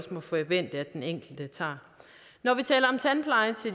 må forvente at den enkelte tager når